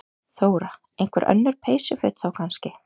Þóra: Einhver önnur peysuföt þá kannski?